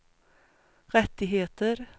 rättigheter